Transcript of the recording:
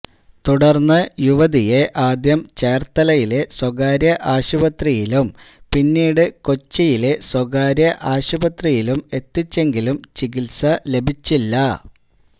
തുടര്ന്ന് യുവതിയെ ആദ്യം ചേര്ത്തലയിലെ സ്വകാര്യ ആശുപത്രിയിലും പിന്നീട് കൊച്ചിയിലെ സ്വകാര്യ ആശുപത്രിയിലും എത്തിച്ചെങ്കിലും ചികിത്സ ലഭിച്ചില്ല